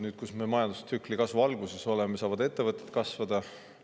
Nüüd, kus me oleme majandustsükli kasvu alguses, saavad ettevõtted kasvada.